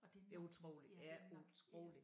Og det er nok ja det er nok ja